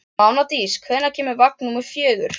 Mánadís, hvenær kemur vagn númer fjögur?